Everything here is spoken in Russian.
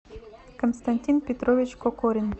константин петрович кокорин